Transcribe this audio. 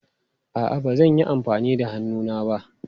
A'a, ba zan yi amfani da hannuna ba.